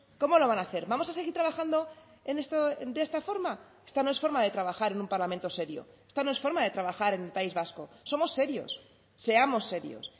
cómo lo van a hacer vamos a seguir trabajando de esta forma esta no es forma de trabajar en un parlamento serio esta no es forma de trabajar en el país vasco somos serios seamos serios